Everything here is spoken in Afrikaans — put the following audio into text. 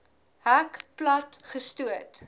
hek plat gestoot